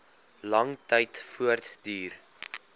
lang tyd voortduur